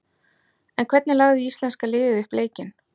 En hvernig lagði íslenska liðið upp leikinn?